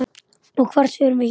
Og hvert förum við héðan?